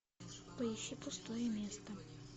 поищи пустое место